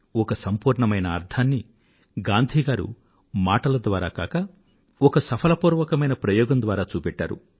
ఒక సంపూర్ణమైన అర్థాన్ని గాంధీ గారు మాటల ద్వారా కాక ఒక సఫలపూర్వకమైన ప్రయోగం ద్వారా చూపెట్టారు